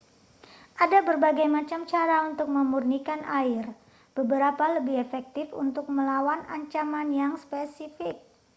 ada berbagai macam cara untuk memurnikan air beberapa lebih efektif untuk melawan ancaman yang spesifik